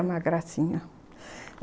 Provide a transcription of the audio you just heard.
uma gracinha.